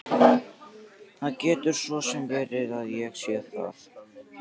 Það getur svo sem verið að ég sé það.